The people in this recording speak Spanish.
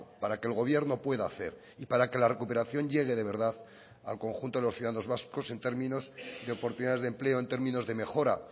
para que el gobierno pueda hacer y para que la recuperación llegue de verdad al conjunto de los ciudadanos vascos en términos de oportunidades de empleo en términos de mejora